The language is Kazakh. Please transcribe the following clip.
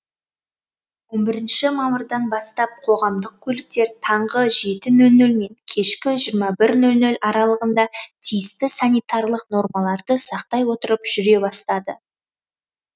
он бірінші мамырдан бастап қоғамдық көліктер таңғы жеті нөл нөл мен кешкі жиырма бір нөл нөл аралығында тиісті санитарлық нормаларды сақтай отырып жүре бастады